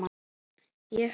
ég held